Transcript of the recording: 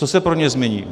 Co se pro ně změní?